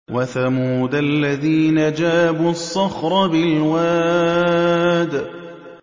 وَثَمُودَ الَّذِينَ جَابُوا الصَّخْرَ بِالْوَادِ